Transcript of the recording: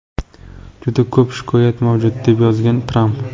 Juda ko‘p shikoyat mavjud”, deb yozgan Tramp.